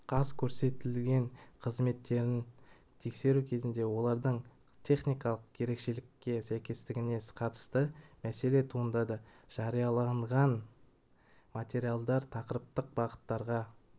қаз көрсетілген қызметтерін тексеру кезінде олардың техникалық ерекшелікке сәйкестігіне қатысты мәселе туындады жарияланған материалдар тақырыптық бағыттарға